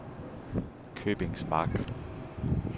Købingsmark